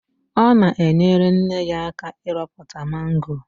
Ọ na-enyere nne ya aka ịrọpụta mango.